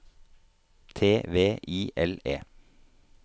T V I L E